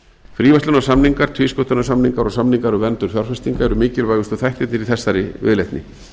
fríverslunarsamningar tvísköttunarsamningar og samningar um verndun fjárfestinga eru mikilvægustu þættirnir í þessari viðleitni